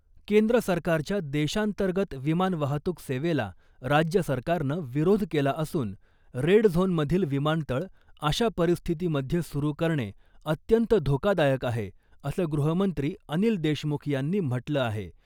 केंद्र सरकारच्या देशांतर्गंत विमान वाहतूक सेवेला राज्य सरकारनं विरोध केला असून रेड झोन मधील विमानतळ अशा परिस्थिती मध्ये सुरू करणे अत्यंत धोकादायक आहे , असं गृहमंत्री अनिल देशमुख यांनी म्हटलं आहे .